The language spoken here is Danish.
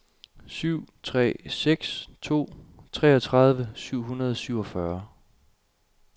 syv tre seks to treogtredive syv hundrede og syvogfyrre